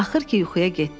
Axır ki, yuxuya getdim.